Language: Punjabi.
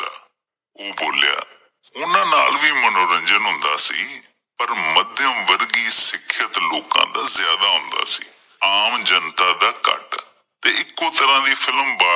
ਉਹ ਬੋਲਿਆਂ, ਉਹਨਾਂ ਨਾਲ ਵੀ ਮਨੋਰੰਜਨ ਹੁੰਦਾ ਸੀ, ਪਰ ਮੱਧਮ ਵਰਗੀ ਸਿੱਖਿਆਤ ਲੋਕਾਂ ਦਾ ਜ਼ਿਆਦਾ ਹੁੰਦਾ ਸੀ ਆਮ ਜਨਤਾਂ ਦਾ ਘੱਟ, ਤੇ ਇੱਕੋ ਤਰਾਂ ਦੀ film ਬਾਰ